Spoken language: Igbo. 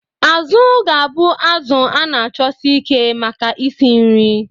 Azu ga-abụ azụ a na-achọsi ike maka isi nri.